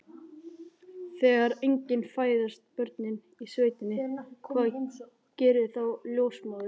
Þegar engin fæðast börnin í sveitinni, hvað gerir þá ljósmóðirin?